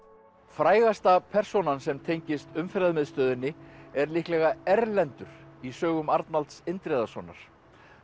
frægasta persónan sem tengist Umferðarmiðstöðinni er líklega Erlendur í sögum Arnalds Indriðasonar